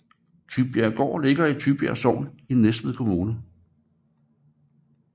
Tybjerggaard ligger i Tybjerg Sogn i Næstved Kommune